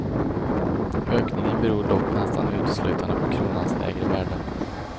Ökningen beror dock nästan uteslutande på kronans lägre värde.